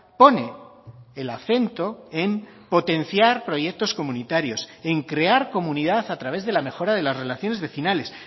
pone el acento en potenciar proyectos comunitarios en crear comunidad a través de la mejora de las relaciones vecinales